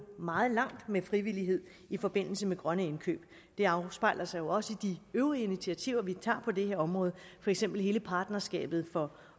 meget langt med frivillighed i forbindelse med grønne indkøb det afspejler sig jo også i de øvrige initiativer vi tager på det her område for eksempel hele partnerskabet for